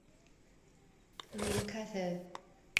рум кафе